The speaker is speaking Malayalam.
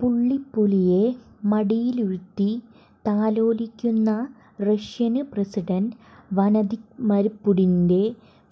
പുള്ളിപ്പുലിയെ മടിയിലിരുത്തി താലോലിക്കുന്ന റഷ്യന് പ്രസിഡന്റ് വഌദിമര് പുടിന്റെ